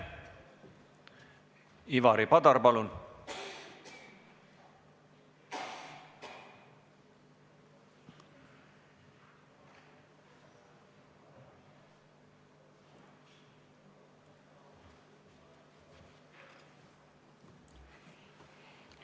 Ivari Padar, palun!